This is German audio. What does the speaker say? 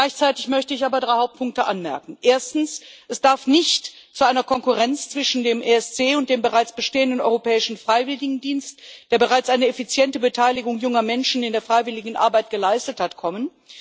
Gleichzeitig möchte ich aber drei Hauptpunkte anmerken Erstens, darf es nicht zu einer Konkurrenz zwischen dem ESC und dem bereits bestehenden Europäischen Freiwilligendienst, der bereits eine effiziente Beteiligung junger Menschen in der Freiwilligenarbeit geleistet hat, kommen.